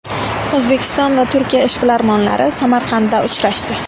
O‘zbekiston va Turkiya ishbilarmonlari Samarqandda uchrashdi.